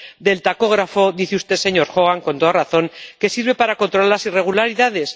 Del tacógrafo dice usted, señor Hogan, con toda razón, que sirve para controlar las irregularidades.